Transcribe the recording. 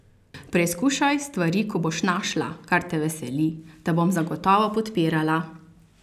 Preizkušaj stvari, ko boš našla, kar te veseli, te bom zagotovo podpirala.